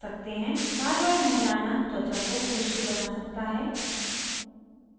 बारबार नहलाना त्वचा को खुष्क बना सकता है